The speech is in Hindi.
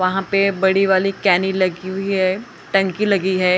वह पे बड़ी वाली केनी लगी हुई है टंकी लगी हैं।